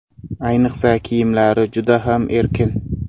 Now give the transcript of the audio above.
Ayniqsa kiyimlari juda ham erkin.